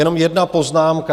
Jenom jedna poznámka.